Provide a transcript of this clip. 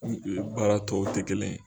baara tɔw tɛ kelen ye.